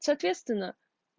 соответственно